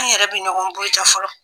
An yɛrɛ bɛ ɲɔgɔn buruja fɔlɔ